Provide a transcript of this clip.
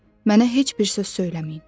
Mənə heç bir söz söyləməyin.